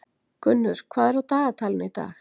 Gunnur, hvað er á dagatalinu í dag?